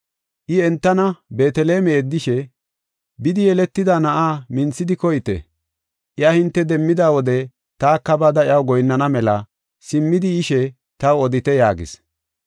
I entana Beeteleme yeddishe, “Bidi yeletida na7aa minthidi koyite; iya hinte demmida wode taka bada iyaw goyinnana mela simmidi yishe taw odite” yaagis.